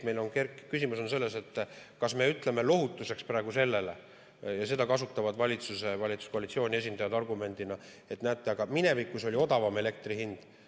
Küsimus on selles, kas me ütleme lohutuseks – seda kasutavad valitsuse ja valitsuskoalitsiooni esindajad argumendina –, et näete, aga minevikus oli odavam elektri hind.